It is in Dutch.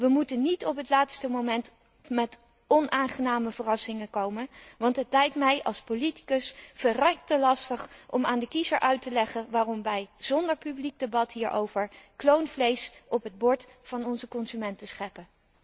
We moeten niet op het laatste moment met onaangename verrassingen komen, want het lijkt mij als politicus verrekte lastig om aan de kiezer uit te leggen waarom wij zonder publiek debat hierover kloonvlees op het bord van onze consumenten scheppen.